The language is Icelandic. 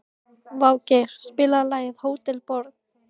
Végeir, spilaðu lagið „Hótel Borg“.